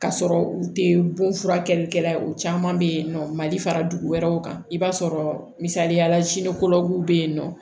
K'a sɔrɔ u te bon furakɛlikɛla ye o caman be yen nɔ mali fara dugu wɛrɛw kan i b'a sɔrɔ misaliyala w be yen nɔ